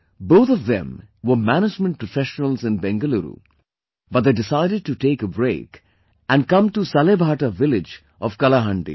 Both of them were management professionals in Bengaluru, but they decided to take a break and come to Salebhata village of Kalahandi